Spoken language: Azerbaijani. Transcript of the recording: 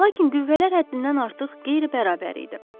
Lakin qüvvələr həddindən artıq qeyri-bərabər idi.